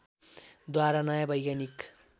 द्वारा नयाँ वैज्ञानिक